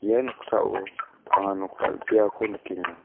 ia noksao anga nok dal·beako nikenga.